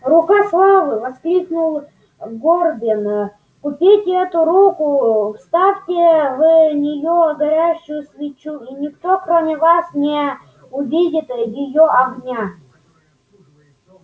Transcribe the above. рукой славы воскликнул горбин купите эту руку вставьте в нее горящую свечу и никто кроме вас не увидит её огня